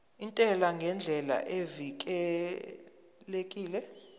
intela ngendlela evikelekile